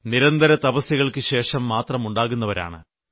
നിരന്തര തപസ്യകൾക്കുശേഷം മാത്രം ഉണ്ടാകുന്നവരാണ്